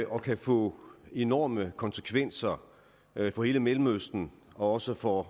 og kan få enorme konsekvenser for hele mellemøsten og også for